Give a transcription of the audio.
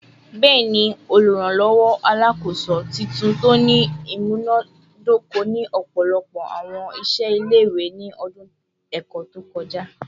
Bẹẹni, Oluranlọwọ Alakoso/titunto ni imunadoko ni ọpọlọpọ awọn iṣẹ ile-iwe ni ọdun ẹkọ to kọja